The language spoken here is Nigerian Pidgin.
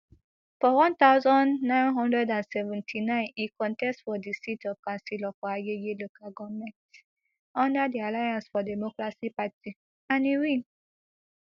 for one thousand, nine hundred and ninety-nine e contest for di seat of councillor for agege local goment under di alliance for democracy party and e win